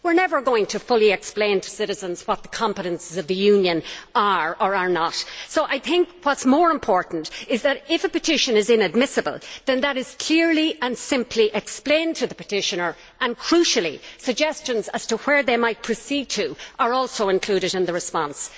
We are never going to fully explain to citizens what the competences of the Union are or are not, so I think what is more important is that, if a petition is inadmissible, then that is clearly and simply explained to the petitioner and, crucially, suggestions as to where they might turn next are also included in the response.